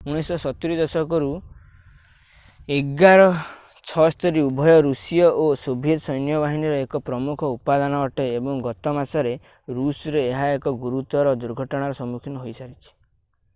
1970 ଦଶକରୁ il-76 ଉଭୟ ରୁଷୀୟ ଓ ସୋଭିଏତ୍ ସୈନ୍ୟବାହିନୀର ଏକ ପ୍ରମୁଖ ଉପାଦାନ ଅଟେ ଏବଂ ଗତ ମାସରେ ରୁଷରେ ଏହା ଏକ ଗୁରୁତର ଦୁର୍ଘଟଣାର ସମ୍ମୁଖୀନ ହୋଇ ସାରିଛି